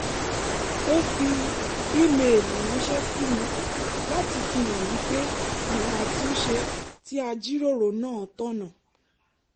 ó fi ímeèlì ránṣẹ́ sí mi láti fihàn mí pé àwọn àtúnṣe tí a jíròrò náà tọ̀nà